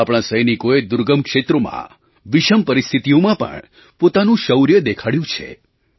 આપણા સૈનિકોએ દુર્ગમ ક્ષેત્રોમાં વિષમ પરિસ્થિતિઓમાં પણ પોતાનું શૌર્ય દેખાડ્યું છે